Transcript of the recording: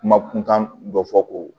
Kuma kun kan dɔ fɔ ko